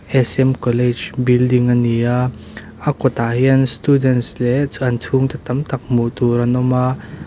s m college building a ni a a kawtah hian students leh chuan an chhungte tam tak hmuh tur an awm a.